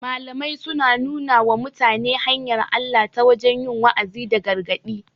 Malamai suna nuna wa mutane hanyar Allah ta wajen yi wa'azi da gargaɗi